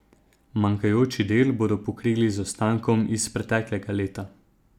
Manjkajoči del bodo pokrili z ostankom iz preteklega leta.